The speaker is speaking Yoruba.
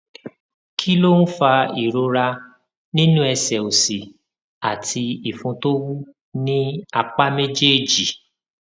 kí ló ń fa ìrora nínú ẹsè òsì àti ìfun tó wú ní apá méjèèjì